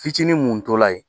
Fitinin mun tola yen